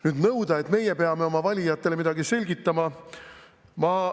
Nüüd nõuda, et meie peame oma valijatele midagi selgitama?